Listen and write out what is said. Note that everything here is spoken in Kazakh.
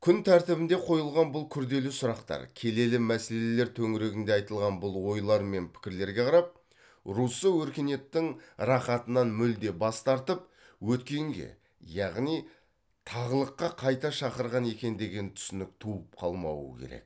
күн тәртібінде қойылған бұл күрделі сұрақтар келелі мәселелер төңірегінде айтылған бұл ойлар мен пікірлерге қарап руссо өркениеттің рахатынан мүлде бас тартып өткенге яғни тағылыққа қайта шақырған екен деген түсінік туып қалмауы керек